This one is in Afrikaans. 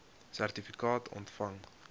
sertifikaat ontvang